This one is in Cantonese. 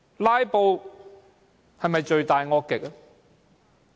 "拉布"是否罪大惡極？